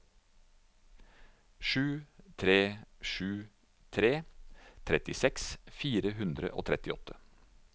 sju tre sju tre trettiseks fire hundre og trettiåtte